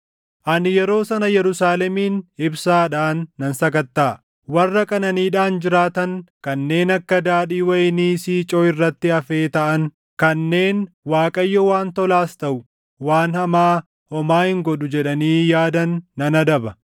Ani yeroo sana Yerusaalemin ibsaadhaan nan sakattaʼa; warra qananiidhaan jiraatan, kanneen akka daadhii wayinii siicoo irratti hafee taʼan, kanneen, ‘ Waaqayyo waan tolaas taʼu waan hamaa homaa hin godhu’ jedhanii yaadan nan adaba.